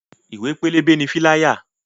Ìwé pélébé ni "fíláyà"